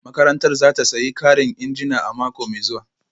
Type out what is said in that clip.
Makarantar za ta sayi karin injina a mako mai zuwa